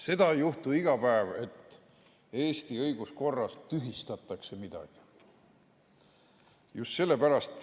Seda ei juhtu iga päev, et Eesti õiguskorras tühistatakse midagi.